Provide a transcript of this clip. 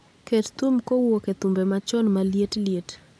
Ket thum kowuok e thumbe machon maliet liet